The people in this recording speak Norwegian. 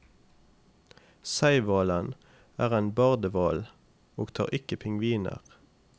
Seihvalen er en bardehval, og tar ikke pingviner.